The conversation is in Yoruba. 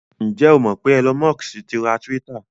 Ǹ jẹ́ o mọ̀ pé Elon Musk ti ra Twitter?